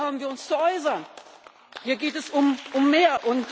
Hier haben wir uns zu äußern, hier geht es um mehr!